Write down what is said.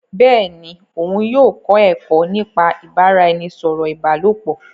Bẹẹni, òun yóò kọ ẹkọ nípa ibaraẹnisọrọ ìbálòpọ̀